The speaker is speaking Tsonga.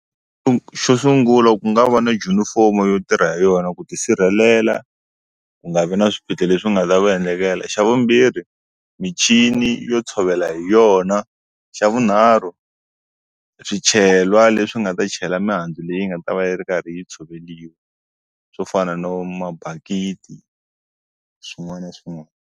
Xo sungula ku nga va na junifomo yo tirha hi yona ku ti sirhelela ku nga vi na swiphiqo leswi nga ta va endlekela xa vumbirhi michini yo tshovela hi yona xa vunharhu swichelwa leswi nga ta chela mihandzu leyi nga ta va yi ri karhi yi tshoveriwa swo fana no mabakiti swin'wana na swin'wana.